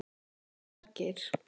Margeir